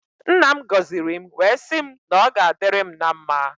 Nna m goziri m wee sị m na ọ ga adịrị m na mmá.